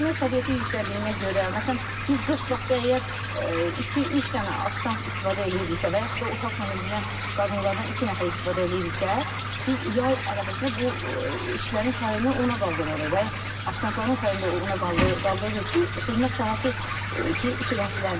Xidmət səviyyəsi yüksəldiyinə görə, məsələn, biz qış vaxtı əgər iki-üç dənə ofisiant istifadə eləyirdiksə və yaxud da otaq təmizləyən qadınlardan iki nəfər istifadə eləyirdiksə, biz yay ərəfəsində bu işlərin sayını ona qaldırırıq və offisiantların sayını da ona qaldırırıq ki, xidmət sahəsi sürətlənsin.